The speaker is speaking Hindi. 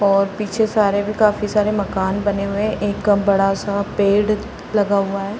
और पीछे सारे भी काफ़ी सारे मकान बने हुए हैं। एक बड़ा-सा पेड़ लगा हुआ है।